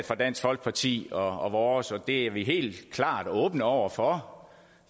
fra dansk folkeparti og vores det er vi helt klart åbne over for